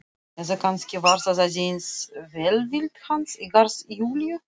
Eða kannski var það aðeins velvild hans í garð Júlíu.